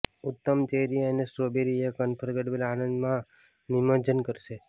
ઉત્તમ ચેરી અને સ્ટ્રોબેરી એક અનફર્ગેટેબલ આનંદ માં નિમજ્જન કરશે